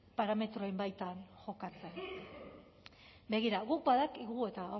parametroen baitan jokatzen begira guk badakigu eta hau